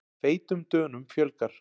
Feitum Dönum fjölgar